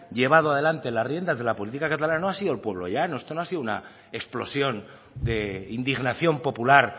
llevado adelante la riendas de la política catalana no ha sido el pueblo llano esto no ha sido una explosión de indignación popular